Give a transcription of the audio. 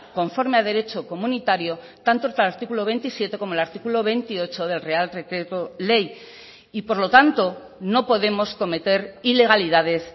conforme a derecho comunitario tanto el artículo veintisiete como el artículo veintiocho del real decreto ley y por lo tanto no podemos cometer ilegalidades